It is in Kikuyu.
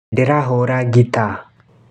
Ndĩrahũra gita.